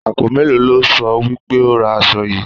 Àpò mélòó lo sọ wí pé ó ra aṣọ yìí?